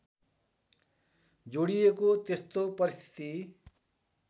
जोडिएको त्यस्तो परिस्थिति